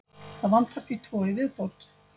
Það vantar því tvo í viðbót.